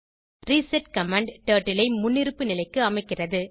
reset command turtle ஐ முன்னிருப்பு நிலைக்கு அமைக்கிறது